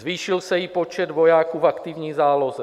Zvýšil se i počet vojáků v aktivní záloze.